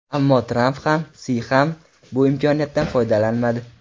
Ammo Tramp ham, Si ham bu imkoniyatdan foydalanmadi.